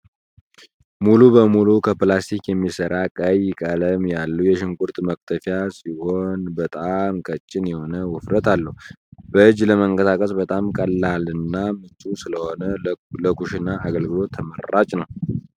ሙሉ በሙሉ ከላስቲክ የሚሰራ ቀይ ቀለም ያለው የሽንኩርት መክተፍያ ሲሆን በጣም ቀጭን የሆነ ውፍረት አለው። በእጂ ለማንቀሳቀስ በጣም ቀላልና ምቹ ስለሆነ ለኩሽና አገልግሎት ተመራጭ ነው።